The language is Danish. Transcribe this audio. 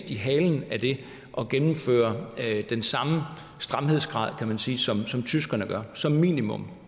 i halen af det og gennemføre den samme stramhedsgrad kan man sige som tyskerne som minimum